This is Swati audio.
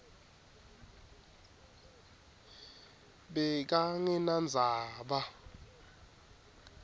bekangenandzaba